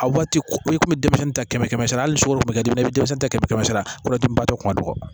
A waati ko i kun bɛ denmisɛnnin ta kɛmɛ kɛmɛ sara hali sugunɛ bɛ kɛ duguma i bɛ denmisɛnnin ta kɛmɛ kɛmɛ sara waati tun ka dɔgɔn